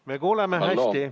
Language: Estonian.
Me kuuleme hästi.